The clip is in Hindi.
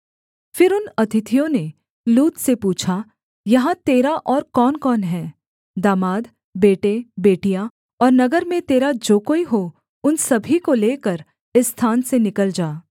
फिर उन अतिथियों ने लूत से पूछा यहाँ तेरा और कौनकौन हैं दामाद बेटे बेटियाँ और नगर में तेरा जो कोई हो उन सभी को लेकर इस स्थान से निकल जा